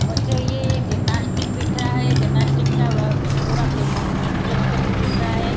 मुझे ये जिम्नास्टिक दिख रहा है जिम्नास्टिक का पूरा फेमन मैन्युफैक्चर दिख रहा है।